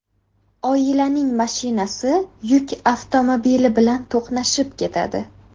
Oilaning mashinasi yuk avtomobili bilan to‘qnashib ketadi.